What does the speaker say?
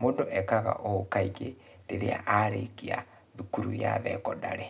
Mũndũ ekaga ũũ kaingĩ rĩrĩa arĩkia thukuru ya thekondarĩ.